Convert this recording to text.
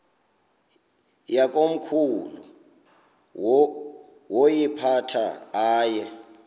yakomkhulu woyiphatha aye